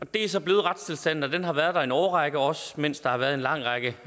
det er så blevet retstilstanden og den har været der en årrække også mens der har været en lang række